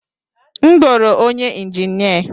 M goro onye injinia.